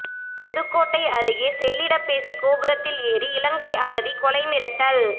புதுக்கோட்டை அருகே செல்லிடப்பேசி கோபுரத்தில் ஏறி இலங்கை அகதி கொலை மிரட்டல்